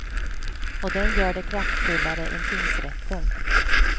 Och den gör det kraftfullare än tingsrätten.